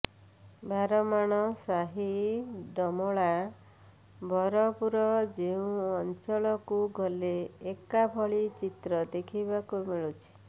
ବାରମାଣ ସାହି ଡମଳା ବଳପୁର ଯେଉଁ ଅଂଚଳକୁ ଗଲେ ଏକାଭଳି ଚିତ୍ର ଦେଖିବାକୁ ମିଳୁଛି